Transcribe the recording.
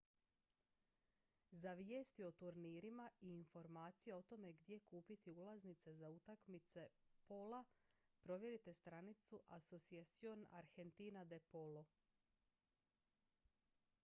za vijesti o turnirima i informacije o tome gdje kupiti ulaznice za utakmice pola provjerite stranicu saveza asociacion argentina de polo